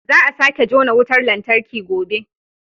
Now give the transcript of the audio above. Za a sake jona wutar lantarki gobe